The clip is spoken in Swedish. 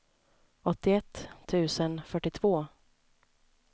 åttioett tusen fyrtiotvå